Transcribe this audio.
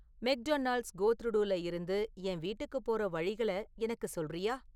McDonald's கோத்ரூடுல இருந்து என் வீட்டுக்குப் போகுற வழிகள எனக்கு சொல்றியா??